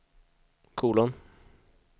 kolon